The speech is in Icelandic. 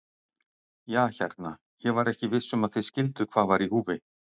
Ja hérna, ég var ekki viss um að þið skilduð hvað var í húfi.